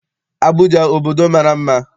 Abụja obodo mara mma.